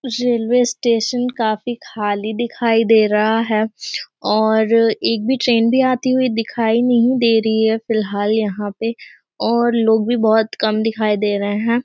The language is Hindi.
रेलवे स्टेशन काफी खाली दिखाई दे रही है और एक भी ट्रेन भी आती हुई दिखाई नहीं दे रही है। फ़िलहाल यहाँ पे और लोग भी बोहोत कम दिखाई दे रहे हैं।